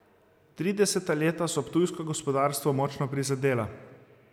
Trideseta leta so ptujsko gospodarstvo močno prizadela.